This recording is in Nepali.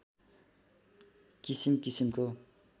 किसिम किसिमको